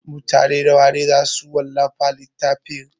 Mutane nawa ne za su wallafa littafin?